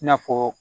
I n'a fɔ